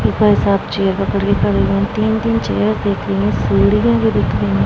ऊपर सब चेयर पकड़ के खड़े हुए हैं तीन-तीन चेयर देख रही हैं सीढ़िए भी दिख रहीं हैं।